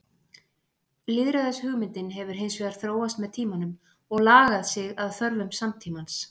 Lýðræðishugmyndin hefur hins vegar þróast með tímanum og lagað sig að þörfum samtímans.